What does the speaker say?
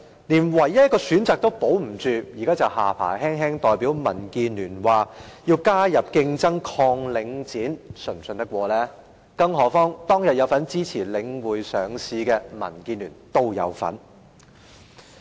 連唯一一個選擇也保不住，現在卻信口胡謅，代表民建聯說要引入競爭，對抗領展房地產投資信託基金，是否可信呢？